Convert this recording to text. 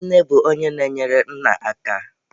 Nne bụ onye na-enyere nna aka.